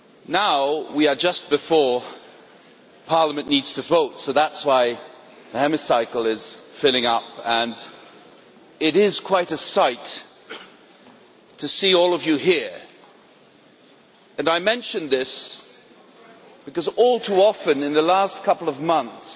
Now, we are just before the time when Parliament needs to vote, so that is why the Chamber is filling up, and it is quite a sight to see all of you here. I mention this because, all too often in the last couple of months,